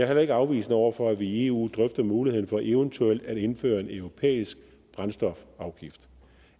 heller ikke afvisende over for at vi i eu drøfter muligheden for eventuelt at indføre en europæisk brændstofafgift